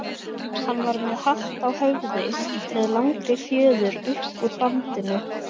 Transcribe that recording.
Hann var með hatt á höfði með langri fjöður upp úr bandinu.